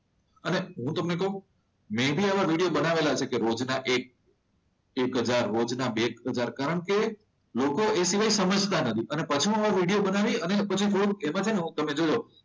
અને હું તમને કહું મે ભી આવા વિડીયો બનાવેલા છે જે રોજના એક હજાર રોજના બે હજાર કારણ કે લોકો એટલો સમજતા નથી અને પછી એમાં વિડીયો બનાવી અને એમાં તમે જોજો,